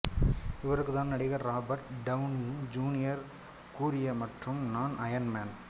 இவருக்கு தான் நடிகர் ராபர்ட் டவுனி ஜூனியர் கூறிய மற்றும் நான் அயர்ன் மேன்